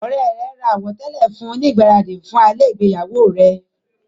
Ọ̀rẹ́ rẹ̀ ra àwọ̀tẹ́lẹ̀ fún un ní ìgbáradì fún alẹ́ ìgbéyàwó rẹ.